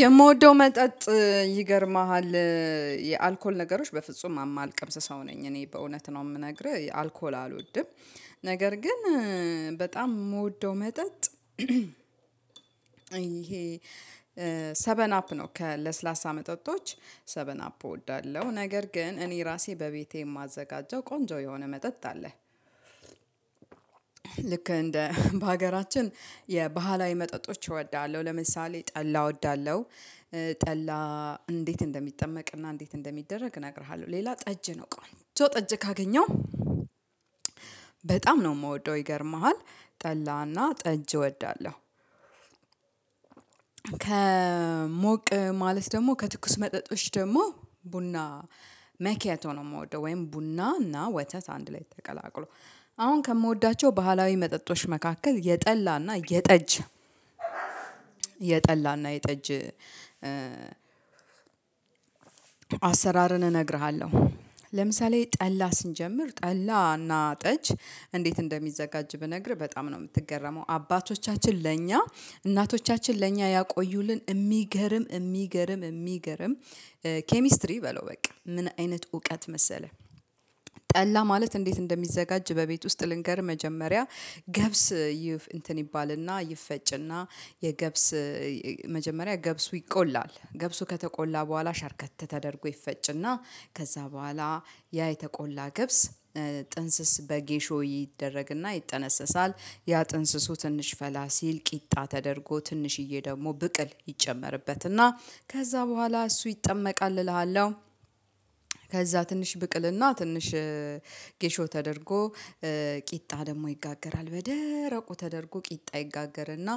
የምወደው መጠጥ ይገርማሃል የአልኮል ነገሮች በፍጹም አማልቀምስ ሰው ነኝ እኔ በእውነት ነው ምነግርህ አልኮል አልወድም። ነገር ግን በጣም ምወደው መጠጥ። ይሄ ሰበን አፕ ነው ለስላሳ መጠጦች ሰበን አፕ እወዳለሁ። ነገር ግን እኔ ራሴ በቤቴ የማዘጋጀው ቆንጆ የሆነ መጠጥ አለ። ልክ እንደ በሀገራችን የባህላዊ መጠጦች እወዳለሁ ለምሳሌ ጠላ እወዳለሁ። ጠላ እንዴት እንደሚጠመቅና እንዴት እንደሚደረግ እነግርሃለሁ ሌላ ጠጅ ነው ቆንጆ ጠጅ ካገኘው በጣም ነው እምወደው ይገርምሃል ጠላና ጠጅ እወዳለሁ። ከሞቅ ማለት ደግሞ ከትኩስ መጠጦች ደግሞ ቡና መኬያቶ ነው ምወደው። ወይም ቡና እና ወተት አንድ ላይ ተቀላቅሎ አሁን ከምወዳቸው ባህላዊ መጠጦች መካከል የጠላ እና የጠጅ የጠላ እና የጠጅ አሰራርን እነግርሃለሁ። ለምሳሌ ጠላ ስንጀምር ጠላ እና ጠጅ እንዴት እንደሚዘጋጅ ብነግርህ በጣም ነው ምትገረመው? አባቶቻችን ለእኛ እናቶቻችን ለእኛ ያቆዩልን እሚገርም እሚገርም እሚገርም። ኬሚስትሪ በለው በቃ ምን አይነት እውቀት መሰለህ? ጠላ ማለት እንዴት እንደሚዘጋጅ በቤት ውስጥ ልንገርህ። መጀመሪያ ገብስ ይፍ እንትን ይባል እና ይፈጭ እና የገብስ መጀመሪያ ገብሱ ይቆላል ገብሱ ከተቆላ በኋላ ሸርከት ተደርጎ ይፈጭና ከዛ በኋላ ያ የተቆላ ገብስ ጥንስስ በጌሾ ይደረግና ይጠነሰሳል። ያ ጥንስሱ ትንሽ ፈላ ሲል ቂጣ ተደርጎ ትንሽዬ ደግሞ ብቅል ይጨመርበትና ከዛ በኋላ እሱ ይጠመቃል እልሃለሁ። ከዛ ትንሽ ብቅልና ትንሽ ጌሾ ተደርጎ ቂጣ ደግሞ ይጋገራል በደረቁ ተደርጎ ቂጣ ይጋገርና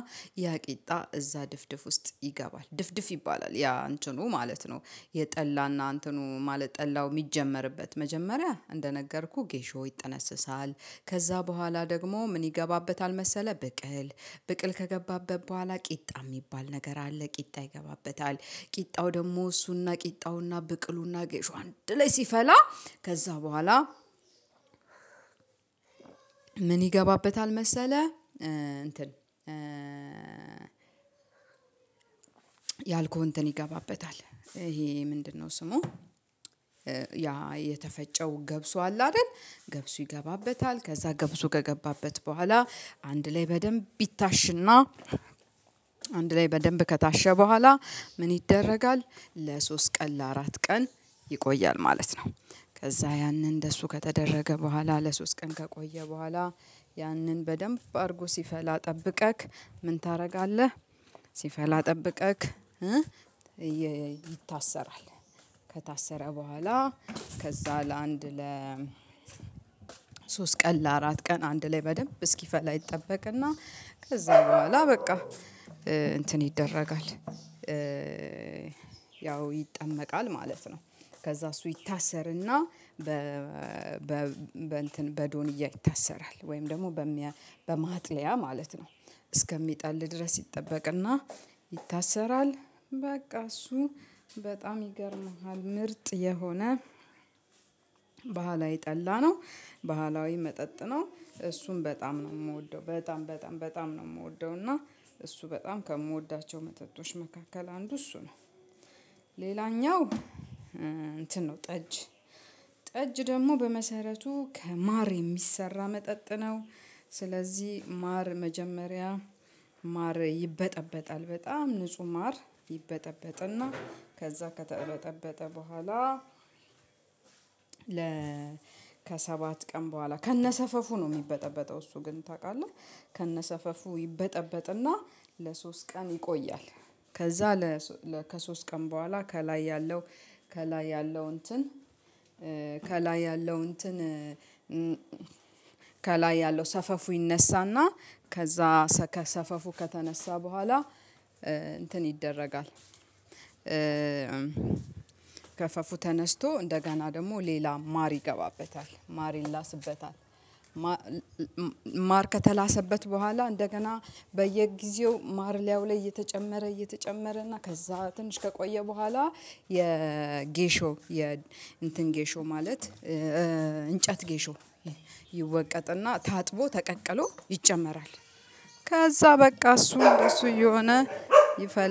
ያ ቂጣ እዛ ድፍድፍ ውስጥ ይገባል ድፍድፍ ይባላል ያ አንተኑ ማለት ነው። የጠላና እንተኑ ማለት ጠላው ሚጀመርበት መጀመሪያ እንደነገርኩህ ጌሾ ይጠነስሳል ከዛ በኋላ ደግሞ ምን ይገባበታል መሰለህ? ብቅል ብቅል ከገባበት በኋላ ቂጣ ሚባል ነገር አለ። ቂጣ ይገባበታል ቂጣው ደግሞ እሱ ና ቂጣው ና ብቅሉ ና ጌሾ አንድ ላይ ሲፈላ ከዛ በኋላ ምን ይገባበታል መሰለህ? እንትን ያልኩህ እንትን ይገባበታል ይሄ ምንድነው ስሙ? ያ የተፈጨው ገብሱ አለ አይደል ገብሱ ይገባበታል ከዛ ገብሱ ከገባበት በኋላ አንድ ላይ በደንብ ይታሽና አንድ ላይ በደንብ ከታሸ በኋላ ምን ይደረጋል ለሶስት ቀን ለአራት ቀን ይቆያል ማለት ነው። ከዛ ያንን እደሱ ከተደረገ በኋላ ለሶስት ቀን ከቆየ በኋላ ያንን በደንብ አድርጎ ሲፈላ ጠብቀክ ምን ታረጋለህ? ሲፈላ ጠብቀክ ይታሰራል። ከታሰረ በኋላ ከዛ ለአንድ ለ ሶስት ቀን ለአራት ቀን አንድ ላይ በደንብ እስኪፈላ ይጠበቅና ከዛ በኋላ በቃ እንትን ይደረጋል ያው ይጠመቃል ማለት ነው። ከዛ እሱ ይታሰርና በ በ በእንትን በዶንያ ይታሰራል ወይም ደግሞ በማጥለያ ማለት ነው። እስከሚጠል ድረስ ይጠበቅና ይታሰራል በቃ እሱ በጣም ይገርምሃል ምርጥ የሆነ ባህላዊ ጠላ ነው። ባህላዊ መጠጥ ነው። እሱም በጣም ነው ምወደው በጣም በጣም በጣም ነው ምወደው። እና እሱ በጣም ከምወዳቸው መጠጦች መካከል አንዱ እሱ ነው። ሌላኛው እንትን ነው ጠጅ ጠጅ ደግሞ በመሰረቱ ከማር የሚሰራ መጠጥ ነው። ስለዚህ ማር መጀመሪያ ማር ይበጠበጣል በጣም ንጹህ ማር ይበጠበጥና ከዛ ከተበጠበጠ በኋላ ከሰባት ቀን በኋላ ከነሰፈፉ ነው ሚበጠበጠው እሱ ግን ታቃለህ? ከነሰፈፉ ይበጠበጥና ለሶስት ቀን ይቆያል። ከዛ ከሶስት ቀን በኋላ ከላይ ያለው ከላይ ያለው እንትን ከላይ ያለው እንትን ከላይ ያለው ሰፈፉ ይነሳና ከዛ ሰፈፉ ከተነሳ በኋላ እንትን ይደረጋል ገፈፉ ተነስቶ እንደገና ደግሞ ሌላ ማር ይገባበታል ማር ይላስበታል ማር ከተላሰበት በኋላ እንደገና በየጊዜው ማር ሊያዩ ላይ እየተጨመረ እየተጨመረ እና ከዛ ትንሽ ከቆየ በኋላ የጌሾ እንትን ጌሾ ማለት እንጨት ጌሾ ይወቀጥና ታጥቦ ተቀቅሎ ይጨመራል። ከዛ በቃ እሱ እሱ እየሆነ ይፈላል